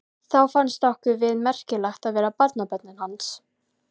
Þá fannst okkur við merkileg að vera barnabörnin hans.